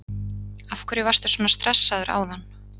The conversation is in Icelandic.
Af hverju varstu svona stressaður áðan?